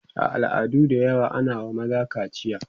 a al'adu da yawa ana wa maza kaciya